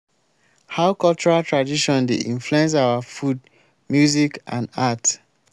how cultural tradition dey influence our food music and art?